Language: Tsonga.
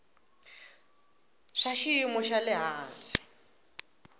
swa xiyimo xa le hansi